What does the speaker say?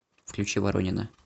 включи воронины